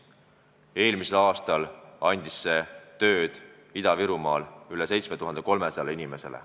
Eelmisel aastal andis see Ida-Virumaal tööd üle 7300 inimesele.